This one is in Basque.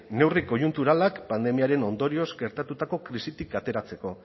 neurri koiunturalak pandemiaren ondorioz gertatutako krisitik ateratzeko